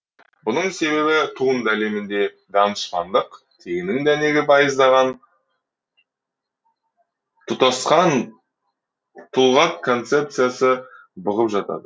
бұның себебі туынды әлемінде данышпандық тегінің дәнегі байыздаған тұтасқан тұлғат концепциясы бұғып жатады